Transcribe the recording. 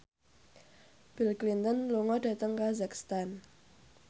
Bill Clinton lunga dhateng kazakhstan